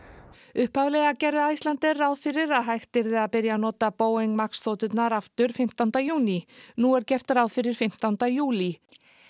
upphaflega gerði Icelandair ráð fyrir að hægt yrði að byrja að nota Boeing Max þoturnar aftur fimmtánda júní nú er gert ráð fyrir fimmtánda júlí